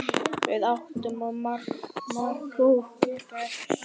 Við áttum svo margt ógert.